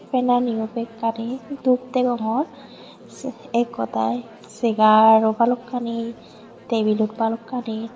fannaniyo bekkani dub degongor ek hodai segar ow balokkani tebil ow balokkani.